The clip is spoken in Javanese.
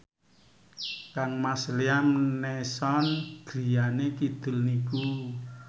kangmas Liam Neeson griyane kidul niku